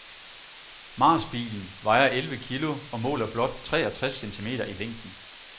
Marsbilen vejer elleve kilo og måler blot treogtres centimeter i længden.